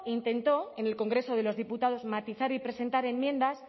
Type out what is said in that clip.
intentó en el congreso de los diputados matizar y presentar enmiendas